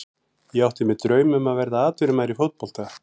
Ég átti mér draum að verða atvinnumaður í fótbolta.